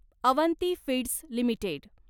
Avanti feeds limited